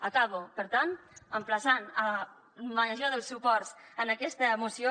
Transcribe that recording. acabo per tant emplaçant al major dels suports en aquesta moció